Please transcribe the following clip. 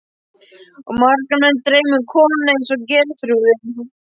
Og marga menn dreymir um konu eins og Geirþrúði.